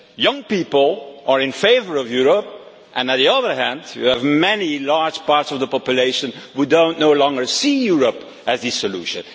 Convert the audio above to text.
Young people are in favour of Europe and, on the other hand, you have many large parts of the population who no longer see Europe as the solution.